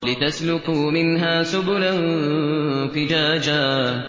لِّتَسْلُكُوا مِنْهَا سُبُلًا فِجَاجًا